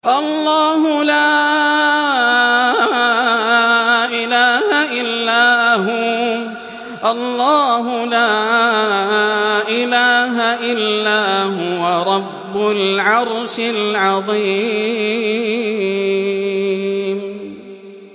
اللَّهُ لَا إِلَٰهَ إِلَّا هُوَ رَبُّ الْعَرْشِ الْعَظِيمِ ۩